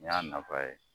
N y'a nafa ye